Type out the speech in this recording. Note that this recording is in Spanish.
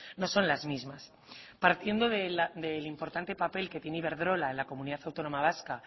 no son las mismas partiendo del importante papel que tiene iberdrola en la comunidad autónoma vasca